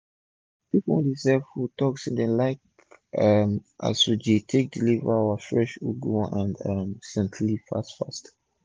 pipu wey dey sell food talk say dem like um as we dey take deliver our fresh ugu and um scent leaf fast fast